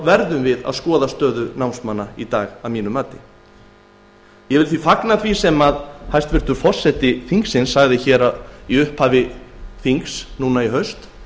verðum við að skoða stöðu námsmanna í dag ég vil fagna því sem hæstvirtur forseti þingsins sagði í upphafi þings í haust